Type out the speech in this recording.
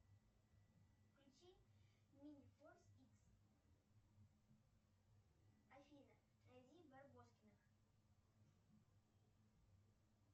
включи мини форс икс афина найди барбоскиных